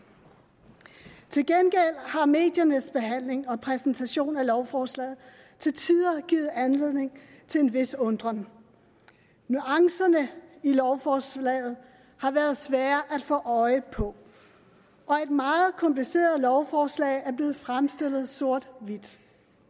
til gengæld har mediernes behandling og præsentation af lovforslaget til tider givet anledning til en vis undren nuancerne i lovforslaget har været svære at få øje på og et meget kompliceret lovforslag er blevet fremstillet sorthvidt